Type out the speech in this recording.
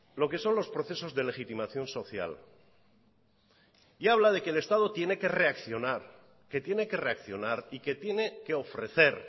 lo que son los procesos de legitimación social y habla de que el estado tiene que reaccionar y que tiene que ofrecer